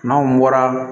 N'anw bɔra